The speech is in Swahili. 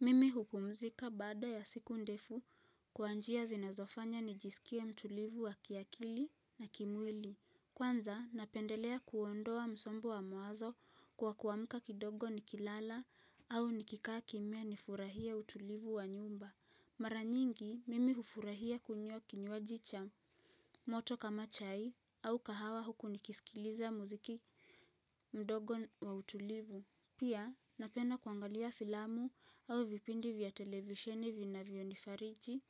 Mimi hupumzika baada ya siku ndefu kwa njia zinazofanya nijisikie mtulivu wa kiakili na kimwili. Kwanza napendelea kuondoa msombo wa mawazo kwa kuamka kidogo nikilala au nikikaa kimya nifurahie utulivu wa nyumba. Mara nyingi mimi hufurahia kunywa kinywaji cha moto kama chai au kahawa huku nikisikiliza muziki mdogo wa utulivu. Pia napenda kuangalia filamu au vipindi vya televisheni vinavyonifariji.